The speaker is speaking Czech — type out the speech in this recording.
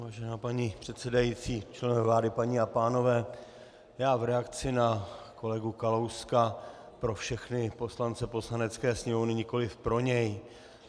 Vážená paní předsedající, členové vlády, paní a pánové, já v reakci na kolegu Kalouska pro všechny poslance Poslanecké sněmovny, nikoliv pro něj.